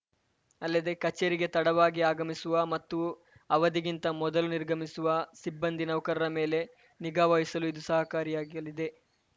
ಅಲ್ಲದೇ ಕಚೇರಿಗೆ ತಡವಾಗಿ ಆಗಮಿಸುವ ಮತ್ತು ಅವಧಿಗಿಂತ ಮೊದಲೇ ನಿರ್ಗಮಿಸುವ ಸಿಬ್ಬಂದಿನೌಕರರ ಮೇಲೆ ನಿಗಾವಹಿಸಲು ಇದು ಸಹಕಾರಿಯಾಗಲಿದೆ